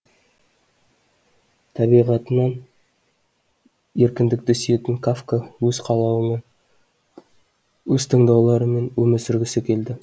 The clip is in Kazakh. табиғатынан еркіндікті сүйетін кафка өз қалауымен өз таңдауларымен өмір сүргісі келді